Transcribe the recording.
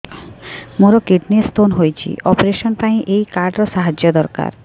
ମୋର kidney stone ହଇଛି operation ପାଇଁ ଏହି କାର୍ଡ ର ସାହାଯ୍ୟ ଦରକାର